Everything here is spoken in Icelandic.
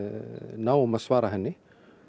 náum að svara henni